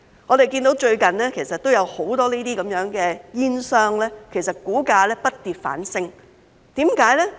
我們看到最近有很多這些煙商的股價不跌反升，為甚麼？